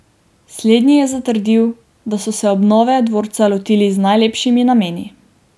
Slednji je zatrdil, da so se obnove dvorca lotili z najlepšimi nameni.